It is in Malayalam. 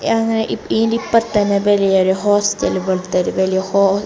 യാ ഇ ഇയിൻ്റെ ഇപ്പറത്ത് തന്നെ വലിയൊരു ഹോസ്റ്റല് പോലത്തെ ഒരു വലിയ ഹോ--